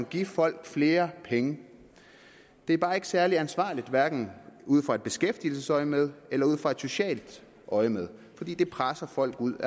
give folk flere penge det er bare ikke særlig ansvarligt hverken ud fra et beskæftigelsesøjemed eller ud fra et socialt øjemed fordi det presser folk ud